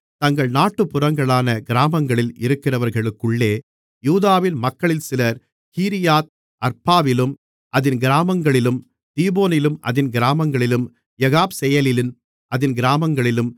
தங்கள் நாட்டுப்புறங்களான கிராமங்களில் இருக்கிறவர்களுக்குள்ளே யூதாவின் மக்களில் சிலர் கீரியாத் அர்பாவிலும் அதின் கிராமங்களிலும் தீபோனிலும் அதின் கிராமங்களிலும் எகாப்செயேலிலும் அதின் கிராமங்களிலும்